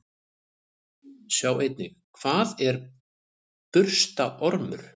Sjá einnig: Hvað er burstaormur?